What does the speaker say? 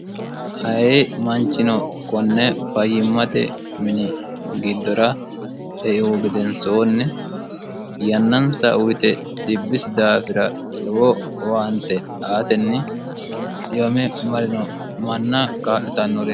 ayii manchino konne fayyimmate mini giddora euu gedensoonni yannansa uyite dhibbisi daafira lowo owaante aatenni dhiyome marino manna kaa'litannoret